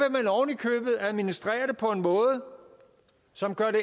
at administrere det på en måde som gør det